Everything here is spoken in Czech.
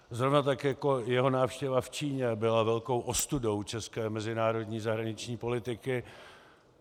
Zrovna tak jako jeho návštěva v Číně byla velkou ostudou české mezinárodní zahraniční politiky.